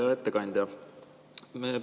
Hea ettekandja!